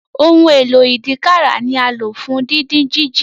Ohun èlò ìdínkàrà ni alo fún didin jiji.